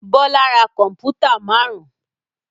Bọ́lá ra kọ̀m̀pútà márùn-ún.